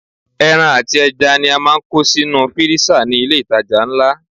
Ẹran àti ẹja ni a máa ń kó sínú fírísà ní ilé ìtajà ńlá.